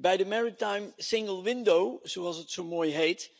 Bij het maritiem éénloketsysteem, zoals dat zo mooi heet,